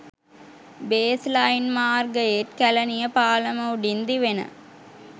baseline මාර්ගයේත් කැලණිය පාලම උඩින් දිවෙන